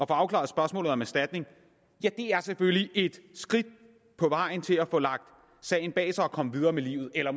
afklaret spørgsmålet om erstatning er selvfølgelig et skridt på vejen til at få lagt sagen bag sig og komme videre med livet eller